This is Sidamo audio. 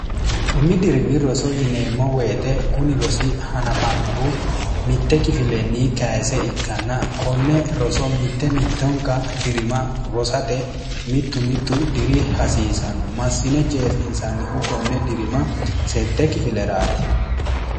umi dirimi roso yineemmo woyite kuni rosi hanafannohu mitte kifilenni kayise ikkanna konne roso mitte mittonka dirima rosate mittu mittu diri hasiisanno massine jeefinsannihu konne dirima sette kifileraati